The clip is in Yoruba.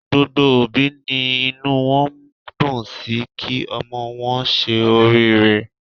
Gbogbo òbí ni inú wọn dùn sí kí ọmọ wọn ṣe oriire.